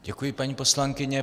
Děkuji, paní poslankyně.